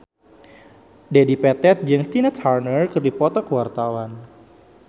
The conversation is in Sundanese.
Dedi Petet jeung Tina Turner keur dipoto ku wartawan